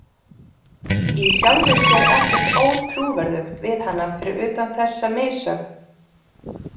Í sjálfu sér ekkert ótrúverðugt við hana fyrir utan þessa missögn.